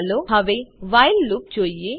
ચાલો હવે while loop જોઈએ